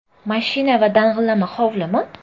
Mashina va dang‘illama hovlimi?